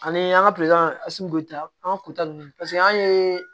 Ani an ka bɛ ta an ka kuta ninnu paseke an ye